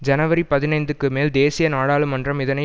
ஜனவரி பதினைந்துக்குமேல் தேசிய நாடாளுமன்றம் இதனை